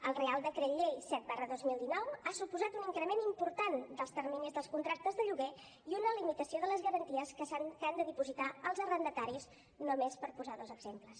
el reial decret llei set dos mil dinou ha suposat un increment important dels terminis dels contractes de lloguer i una limitació de les garanties que han de dipositar els arrendataris només per posar dos exemples